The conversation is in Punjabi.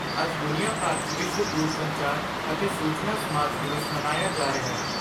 ਅੱਜ ਦੁਨੀਆਂ ਭਰ 'ਚ ਵਿਸ਼ਵ ਦੂਰਸੰਚਾਰ ਅਤੇ ਸੂਚਨਾ ਸਮਾਜ ਦਿਵਸ ਮਨਾਇਆ ਜਾ ਰਿਹੈ।